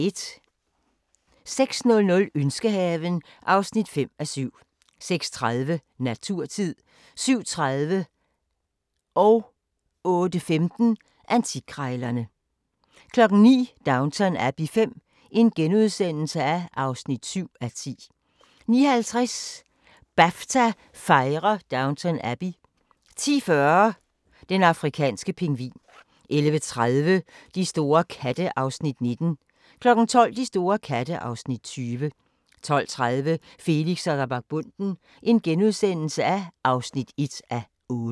06:00: Ønskehaven (5:7) 06:30: Naturtid 07:30: Antikkrejlerne 08:15: Antikkrejlerne 09:00: Downton Abbey V (7:10)* 09:50: BAFTA fejrer Downton Abbey 10:40: Den afrikanske pingvin 11:30: De store katte (Afs. 19) 12:00: De store katte (Afs. 20) 12:30: Felix og vagabonden (1:8)*